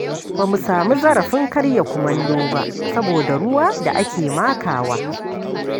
Ba mu sami zarafin karya kumallo ba saboda ruwa da ake makawa.